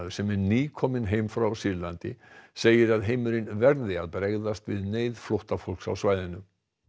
sem er nýkominn heim frá Sýrlandi segir að heimurinn verði að bregðast við neyð flóttafólks á svæðinu